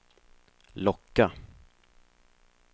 locka